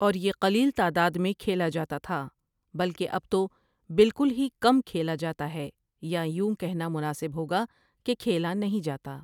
اور یہ قلیل تعداد میں کھیلا جاتا تھا بلکہ اب تو بالکل ہی کم کھیلا جاتا ہے یا یوں کہنا مناسب ہوگا کہ کھیلا نہیں جاتا ۔